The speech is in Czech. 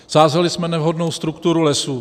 Sázeli jsme nevhodnou strukturu lesů.